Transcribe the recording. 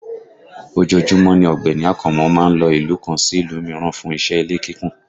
Ojoojúmọ́ ni Ọ̀gbẹ́ni Akànmú má ń lo ìlú kan sí ìlú mìíràn fún iṣẹ́ ilé kíkùn